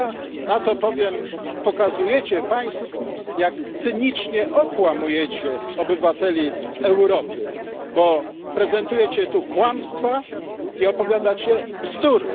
To ja na to powiem Pokazujecie państwo, jak cynicznie okłamujecie obywateli Europy, bo prezentujecie tu kłamstwa i opowiadacie bzdury.